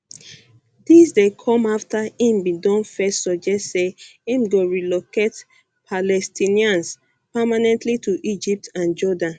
dis dey come afta im bin don first suggest say im go um relocate palestinians permanently to egypt and jordan